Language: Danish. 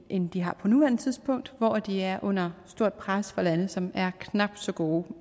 end det har på nuværende tidspunkt hvor det er under stort pres fra lande som er knap så gode